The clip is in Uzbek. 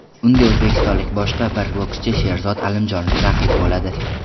Unga o‘zbekistonlik boshqa bir bokschi Sherzod Alimjonov raqib bo‘ladi.